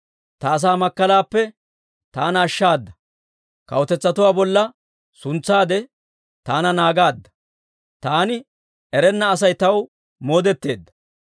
«Ta asaa makkalaappe taana ashshaada. Kawutetsatuwaa bolla suntsaade, taana naagaadda; taani erenna Asay taw moodetteedda.